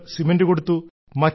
ചിലർ സിമെന്റ് കൊടുത്തു